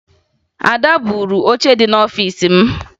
Ada buuru oche dị n'ọfiisi m